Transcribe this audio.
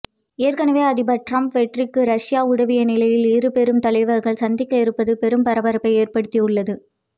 ஏற்கனவே அதிபர் டிரம்ப் வெற்றிக்கு ரஷ்யா உதவிய நிலையில் இரு பெரும் தலைவர்கள் சந்திக்க இருப்பது பெரும் பரபரப்பை ஏற்படுத்தியுள்ளது